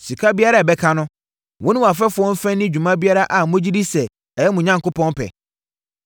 Sika biara a ɛbɛka no, wo ne wʼafɛfoɔ mfa nni dwuma biara a mogye di sɛ ɛyɛ mo Onyankopɔn pɛ.